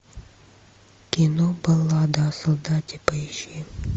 кино баллада о солдате поищи